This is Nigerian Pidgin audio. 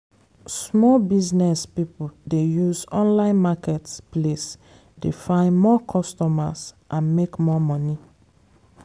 small business people dey use online market place dey find more costumers and make more money.